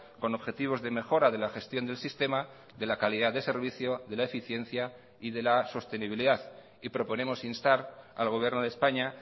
con objetivos de mejora de la gestión del sistema de la calidad de servicio de la eficiencia y de la sostenibilidad y proponemos instar al gobierno de españa